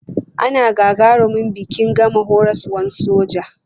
Ana gagarumin biki in gama horaswar soja.